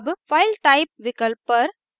अब file type विकल्प पर